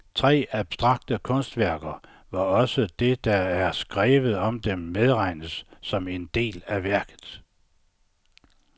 Tre abstrakte kunstværker, hvor også det der er skrevet om dem medregnes som en del af værket.